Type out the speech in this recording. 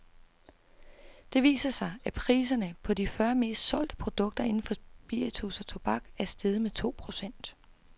Det viser sig, at priserne, på de fyrre mest solgte produkter inden for spiritus og tobak, er steget med to procent.